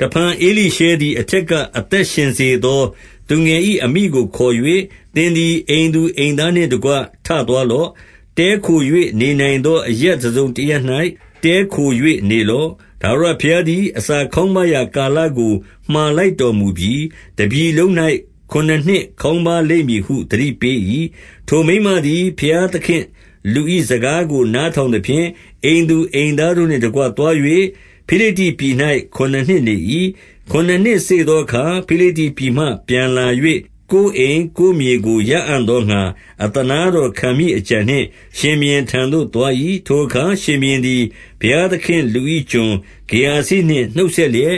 တဖန်ဧလိရှဲသည် အထက်က အသက်ရှင်စေ သော သူငယ်၏အမိကိုခေါ်၍၊ သင်သည် အိမ်သူ အိမ်သားနှင့်တကွ ထသွားလော့။ တည်းခို၍ နေနိုင်သော အရပ်တစုံတရပ်၌ တည်းခို၍နေလော့။ ထာဝရဘုရား သည် အစာခေါင်းပါးရာကာလကို မှာလိုက်တော်မူပြီ။ တပြည်လုံး၌ ခုနစ်နှစ်ခေါင်းပါးလိမ့်မည်ဟု သတိပေး၏။ 2 ထိုမိန်းမသည် ဘုရားသခင့်လူ၏စကားကို နား ထောင်သဖြင့်၊ အိမ်သူအိမ်သားတို့နှင့်တကွ သွား၍ ဖိလိတ္တိပြည်၌ ခုနစ်နှစ်နေ၏။ 3 ခုနစ်နှစ်စေ့သောအခါ၊ ဖိလိတ္တိပြည်မှ ပြန်လာ၍ ကိုယ်အိမ်၊ ကိုယ်မြေကို ရအံ့သောငှါ အသနားတော်ခံမည့် အကြံနှင့် ရှင်ဘုရင်ထံသို့ သွား၏။ 4 ထိုအခါရှင်ဘုရင်သည် ဘုရားသခင့်လူ၏ ကျွန် ဂေဟာဇိနှင့် နှုတ်ဆက်လျက်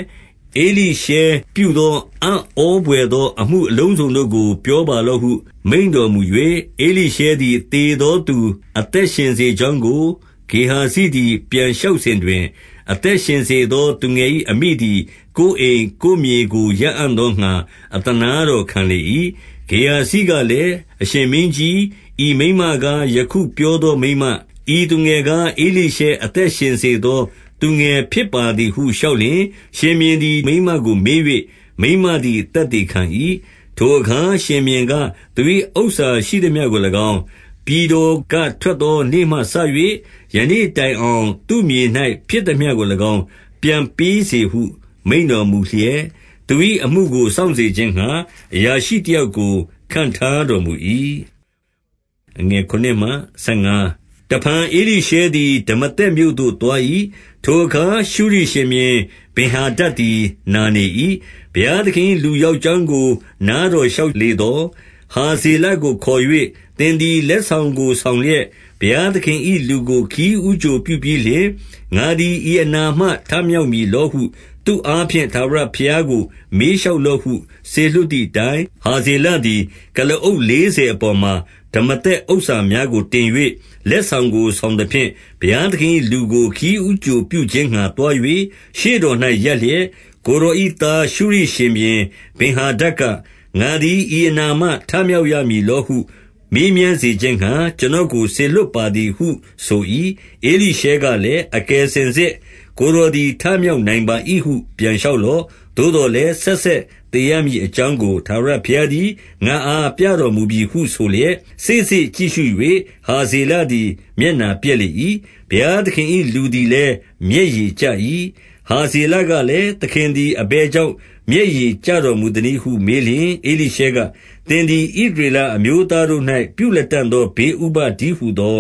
၊ ဧလိရှဲပြုသောအံ့ဩဘွယ် သော အမှုအလုံးစုံတို့ကို ပြောပါလော့ဟု မိန့်တော်မူ၍၊ 5 ဧလိရှဲသည် သေသောသူ အသက်ရှင်စေ ကြောင်းကို ဂေဟာဇိသည် ပြန်လျှောက်စဉ်တွင်၊ အသက် ရှင်စေသောသူငယ်၏ အမိသည်ကိုယ်အိမ်၊ ကိုယ်မြေကို ရအံ့သောငှါ အသနားတော်ခံလေ၏။ ဂေဟာဇိကလည်း၊ အရှင်မင်းကြီး၊ ဤမိန်းမကား ယခုပြောသော မိန်းမ၊ ဤ သူငယ်ကား ဧလိရှဲအသက်ရှင်စေသော သူငယ်ဖြစ်ပါ သည်ဟု လျှောက်လျှင်၊ 6 ရှင်ဘုရင်သည် မိန်းမကိုမေး၍ မိန်းမလည်း သက်သေခံ၏။ ထိုအခါရှင်ဘုရင်က၊ သူ၏ဥစ္စာရှိသမျှကို ၎င်း၊ ပြည်တော်ကထွက်သော နေ့မှစ၍ ယခုတိုင်အောင် သူ့မြေ၌ ဖြစ်သမျှကို၎င်း ပြန်ပေးစေဟု မိန့်တော်မူလျက်၊ သူ၏အမှုကို စောင့်စေခြင်းငှါ အရာရှိ၏တယောက်ကို ခန့်ထားတော်မူ၏။ 7 တဖန်ဧလိရှဲသည် ဒမာသက်မြို့သို့သွား၏။ ထိုအခါ ရှုရိရှင်ဘုရင်ဗင်္ဟာဒဒ်သည် နာနေ၏။ ဘုရား သခင်၏လူရောက်ကြောင်းကို နားတော်လျှောက်လေ သော်။ 8 ဟာဇေလကို ခေါ်၍၊ သင်သည်လက်ဆောင်ကို ဆောင်လျက် ဘုရားသခင်၏ လူကိုခရီးဦးကြိုပြုပြီးလျှင်၊ ငါသည်ဤအနာမှ ထမြောက်မည်လောဟု သူအားဖြင့် ထာဝရဘုရားကို မေးလျှောက်လော့ဟု စေလွှတ်သည် အတိုင်း၊ 9 ဟာဇေလသည် ကုလားအုပ်လေးဆယ်အပေါ် မှာ ဒမာသက်ဥစ္စာများကိုတင်၍၊ လက်ဆောင်ကို ဆောင် သဖြင့်၊ ဘုရားသခင်၏လူကို ခရီးဦးကြို ပြုခြင်းငှါသွား၍ ရှေ့တော်၌ ရပ်လျက်၊ ကိုယ်တော်၏သား ရှုရိရှင်ဘုရင် ဗင်္ဟာဒဒ်က၊ ငါသည်ဤအနာမှထမြောက်ရမည်လောဟု မေးမြန်းစေခြင်းငှါ၊ ကျွန်တော်ကို စေလွှတ်ပါသည်ဟု ဆို၏။ 10 ဧလိရှဲကလည်း၊ အကယ်စင်စစ် ကိုယ်တော် သည် ထမြောက်နိုင်ပါ၏ဟု ပြန်လျှောက်လော့။ သို့သော် လည်း ဆက်ဆက်သေရမည်အကြောင်းကို ထာဝရဘုရား သည် ငါ့အားပြတော်မူပြီဟုဆိုလျက်၊ 11 စေ့စေ့ကြည့်ရှု၍ ဟာဇေလသည် မျက်နှာပျက် လေ၏။ ဘုရားသခင်၏ လူသည်လည်း မျက်ရည်ကျ၏။ 12 ဟာဇေလကလည်း၊ သခင်သည် အဘယ် ကြောင့် မျက်ရည်ကျတော်မူသနည်းဟု မေးလျှင် ဧလိရှဲ က၊ သင်သည် ဣသရေလအမျိုးသားတို့၌ပြုလတံ့သော ဘေးဥပဒ်တည်းဟူသော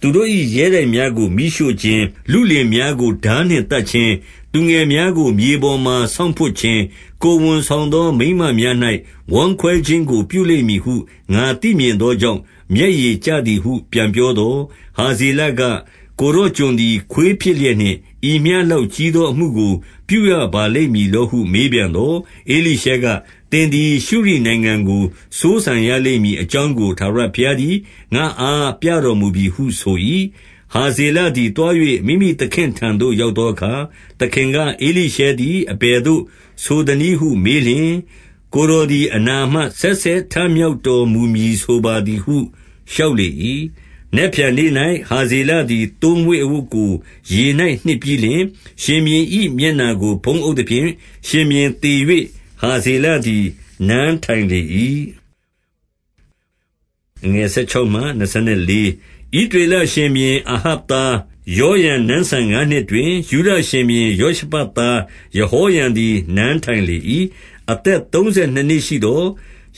သူတို့၏ ရဲတိုက်များကို မီးရှို့ ခြင်း၊ လုလင်များကို ထားနှင့်သတ်ခြင်း၊ သူငယ်များကို မြေပေါ်မှာ ဆောင့်ဖွပ်ခြင်း၊ ကိုယ်ဝန်ဆောင်သော မိန်းမ များ၌ ဝမ်းခွဲခြင်းကို ပြုလိမ့်မည်ဟု ငါသိမြင်သောကြောင့် မျက်ရည်ကျသည်ဟု ပြန်ပြောသော်၊ 13 ဟာဇေလက၊ ကိုယ်တော်ကျွန်သည် ခွေးဖြစ်လျက် နှင့် ဤမျှလောက်ကြီးသော အမှုကို ပြုရပါလိမ့်မည် လောဟု မေးပြန်သော်၊ ဧလိရှဲက၊ သင်သည် ရှုရိနိုင်ငံကို စိုးစံရလိမ့်မည်အကြောင်းကို ထာဝရဘုရားသည် ငါ့အား ပြတော်မူပြီဟုဆို၏။ 14 ဟာဇေလသည်သွား၍ မိမိသခင့်ထံသို့ ရောက် သောအခါ၊ သခင်က၊ ဧလိရှဲသည် အဘယ်သို့ဆိုသနည်း ဟု မေးလျှင်၊ ကိုယ်တော်သည် အနာမှ ဆက်ဆက် ထမြောက်တော်မူမည်ဆိုပါသည်ဟု လျှောက်လေ၏။ 15 နက်ဖြန်နေ့၌ ဟာဇေလသည် သိုးမွှေးအဝတ်ကို ရေ၌ နှစ်ပြီးလျှင်၊ ရှင်ဘုရင်၏ မျက်နှာကိုဖုံးအုပ်သဖြင့်၊ ရှင်ဘုရင်သေ၍ ဟာဇေလသည် နန်းထိုင်လေ၏။ 16 ဣသရေလရှင်ဘုရင် အာဟပ်သား ယောရံ နန်းစံငါးနှစ်တွင်၊ ယုဒရှင်ဘုရင်ယောရှဖတ်သား ယဟော ရံသည် နန်းထိုင်လေ၏။ 17 အသက်သုံးဆယ်နှစ်နှစ်ရှိသော်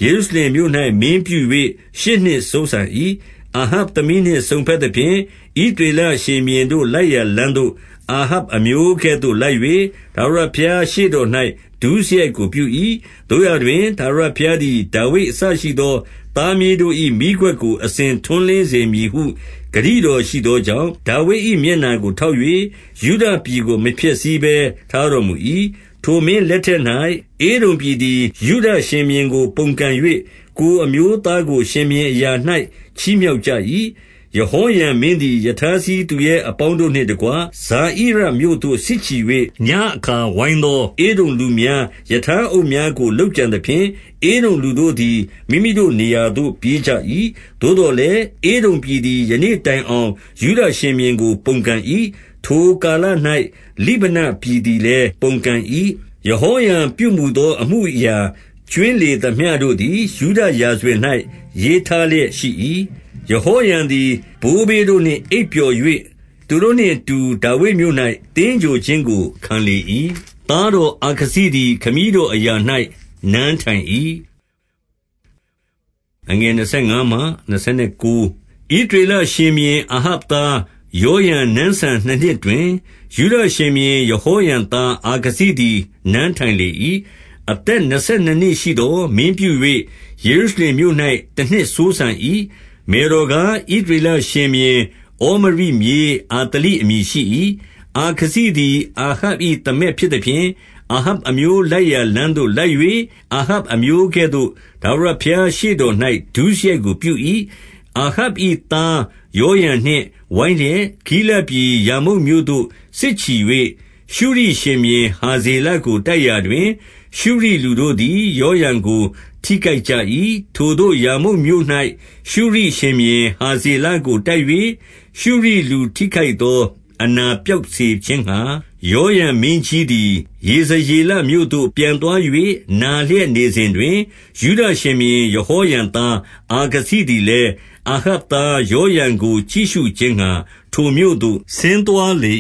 ၊ ယေရုရှလင် မြို့၌ မင်းပြု၍ ရှစ်နှစ်စိုးစံ၏။ 18 အာဟပ်သမီးနှင့်စုံဘက်သဖြင့်၊ ဣသရေလ ရှင်ဘုရင်တို့လိုက်ရာ လမ်းသို့ အာဟပ်အမျိုးကဲ့သို့ လိုက်၍ ထာဝရဘုရားရှေ့တော်၌ ဒုစရိုက်ကို ပြု၏။ 19 သို့ရာတွင် ထာဝရဘုရားသည် ဒါဝိဒ်အစရှိ သော သားမြေးတို့ ၏မီးခွက်ကို အစဉ်ထွန်းလင်းစေမည် ဟု ဂတိတော်ရှိသောကြောင့်၊ ဒါဝိဒ်၏ မျက်နှာကို ထောက်၍၊ ယုဒပြည်ကို မဖျက်ဆီးဘဲ ထားတော်မူ၏။ 20 ထိုမင်းလက်ထက်၌၊ ဧဒုံပြည်သည် ယုဒရှင် ဘုရင်ကို ပုန်ကန်၍ ကိုယ်အမျိုးသားကို ရှင်ဘုရင်အရာ၌ ချီးမြှောက်ကြ၏။ 21 ယဟောရံမင်းသည် ရထားစီးသူရဲအပေါင်းတို့ နှင့်တကွ၊ ဇာဣရမြို့သို့ စစ်ချီ၍ ညဉ့်အခါဝိုင်းသော ဧဒုံ လူများ၊ ရထားအုပ်များကို လုပ်ကြံသဖြင့်၊ ဧဒုံလူတို့သည် မိမိတို့နေရာသို့ ပြေးကြ၏။ 22 သို့သော်လည်း၊ ဧဒုံပြည်သည်ယနေ့တိုင်အောင် ယုဒရှင်ဘုရင်ကို ပုန်ကန်၏။ 23 ယဟောရံပြုမူသော အမှုအရာကြွင်းလေသမျှ တို့သည် ယုဒရာဇဝင်၌ ရေးထားလျက်ရှိ၏။ 24 ယဟောရံသည် ဘိုးဘေးတို့နှင့်အိပ်ပျော်၍၊ သူတို့နှင့်အတူ ဒါဝိဒ်မြို့၌ သင်္ဂြိုလ်ခြင်းကို ခံလေ၏။ သားတော်အာခဇိသည် ခမည်းတော်အရာ၌နန်းထိုင်၏။ 25 ဣသရေလရှင်ဘုရင် အာဟပ်သား ယောရံ နန်းစံဆယ်နှစ်နှစ်တွင်၊ ယုဒရှင်ဘုရင်ယဟောရံသား အာခဇိသည် နန်းထိုင်လေ၏။ 26 အသက်နှစ်ဆယ်နှစ်နှစ်ရှိသော်၊မင်းပြု၍ ယေရု ရှလင်မြို့၌ တနှစ်စိုးစံ၏။ မယ်တော်ကား၊ ဣသရေလ ရှင်ဘုရင်ဩမရိမြေးအာသလိ အမည်ရှိ၏။ 27 အာခဇိသည် အာဟပ်၏သမက်ဖြစ်သဖြင့်၊ အာဟပ်အမျိုးလိုက်ရာလမ်းသို့လိုက်၍၊ အာဟပ်အမျိုး ကဲ့သို့ ထာဝရဘုရားရှေ့တော်၌ ဒုစရိုက်ကို ပြု၏။ 28 အာဟပ်၏သားယောရံနှင့်ဝိုင်းလျက်၊ ဂိလဒ် ပြည် ရာမုတ်မြို့သို့ စစ်ချီ၍၊ ရှုရိရှင်ဘုရင်ဟာဇေလကို တိုက်ရာတွင် ရှုရိလူတို့သည်ယောရံကိုတိခိုက်ကြ၏။ 29 ထိုသို့ရာမုတ်မြို့၌ ရှုရိဘုရင်ဟာဇေလကိုတိုက်၍၊ ရှုရိလူထိခိုက်သော အနာပျောက်စေခြင်းငှါ၊ ယောရံမင်းကြီးသည် ယေဇရေလမြို့သို့ ပြန်သွား၍ နာလျက်နေစဉ်တွင်၊ ယုဒရှင်ဘုရင် ယဟောရံသား အာခဇိသည်လည်း၊ အာဟပ်သားယောရံကို ကြည့်ရှုခြင်း ငှါ ထိုမြို့သို့ ဆင်းသွားလေ